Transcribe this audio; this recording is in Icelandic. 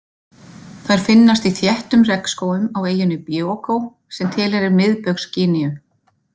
Þær finnast í þéttum regnskógum á eyjunni Bioko sem tilheyrir Miðbaugs-Gíneu.